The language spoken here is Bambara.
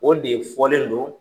O de fɔlen do.